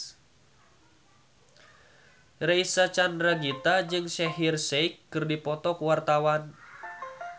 Reysa Chandragitta jeung Shaheer Sheikh keur dipoto ku wartawan